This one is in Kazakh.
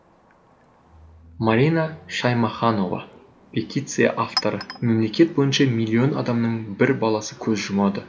марина шаймаханова петиция авторы мемлекет бойынша миллион адамның бір баласы көз жұмады